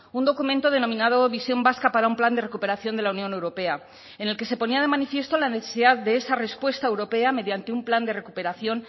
un documento denominado visión vasca para un plan de recuperación de la unión europea en el que se ponía de manifiesto la necesidad de esa respuesta europea mediante un plan de recuperación